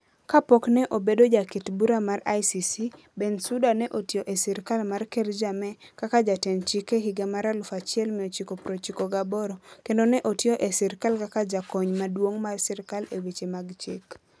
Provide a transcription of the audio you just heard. Kapok ne obedo jaket bura mar ICC, Bensouda ne otiyo e sirkal mar Ker Jammeh kaka jatend chik e higa mar 1998, kendo ne otiyo e sirkal kaka jakony maduong' mar sirkal e weche mag chik